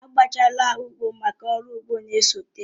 A bọchaala ugbo máká ụrọ ugbo na-esote